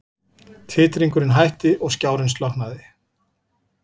Titringurinn hætti og skjárinn slokknaði.